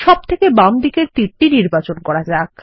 সবথেকে বামদিকের তীরটি নির্বাচন করা যাক